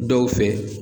Dɔw fɛ